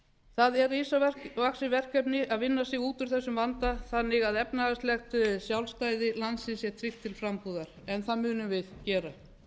það er risavaxið verkefni að vinna sig út úr þessum vanda þannig að efnahagslegt sjálfstæði landsins sé teygt til frambúðar en það munum við gera